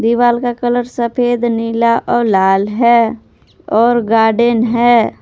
दीवाल का कलर सफेद नीला और लाल है और गार्डन है।